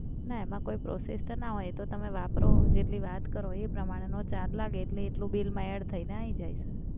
ના એમાં કોઇ process તો ના હોય એ તો તમે વાપરો, જેટલી વાત કરો એ પ્રમાણેનો ચાર્જ લાગે એટલે એટલું બિલમાં એડ થઈને આઈ જાય સર.